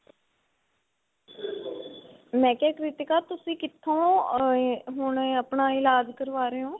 ਮੈ ਕਿਆ ਕ੍ਰਿਤਿਕਾ ਤੁਸੀਂ ਕਿੱਥੋ ah ਹੁਣ ਆਪਣਾ ਇਲਾਜ ਕਰਵਾ ਰਹੇ ਓ.